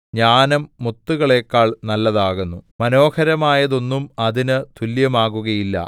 ജ്ഞാനം മുത്തുകളെക്കാൾ നല്ലതാകുന്നു മനോഹരമായതൊന്നും അതിന്നു തുല്യമാകയില്ല